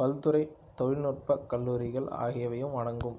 பல்துறை தொழில்நுட்பக் கல்லூரிகள் ஆகியவையும்அடங்கும்